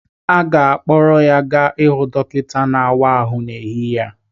A ga-akpọrọ ya gaa hụ dọkịta na-àwá áhụ n'ehihie a